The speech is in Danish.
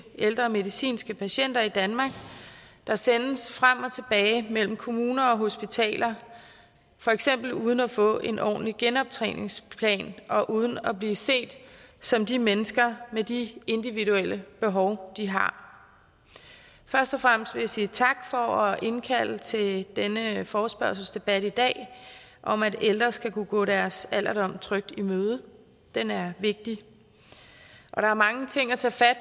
ældre medicinske patienter i danmark der sendes frem og tilbage mellem kommuner og hospitaler for eksempel uden at få en ordentlig genoptræningsplan og uden at blive set som de mennesker de med de individuelle behov de har først og fremmest vil jeg sige tak for at indkalde til denne forespørgselsdebat i dag om at ældre skal kunne gå deres alderdom trygt i møde den er vigtig og der er mange ting at tage fat